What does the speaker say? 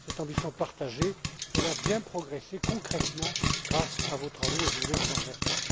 Cette ambition partagée a bien progressé, concrètement, grâce à vos travaux, et je voulais vous en remercier.